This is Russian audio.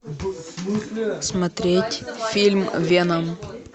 смотреть фильм веном